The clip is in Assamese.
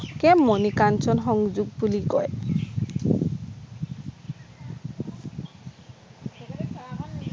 এ মণি কাঞ্চন সংযোগ বুলি কয়